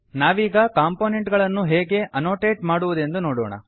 ನಾವೀಗ ಕಂಪೊನೆಂಟ್ ಗಳನ್ನು ಹೇಗೆ ಆನೊಟೇಟ್ ಮಾಡುವುದೆಂದು ನೋಡೋಣ